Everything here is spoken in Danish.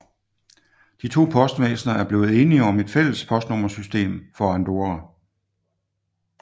De to postvæsner er blevet enige om et fælles postnummersystem for Andorra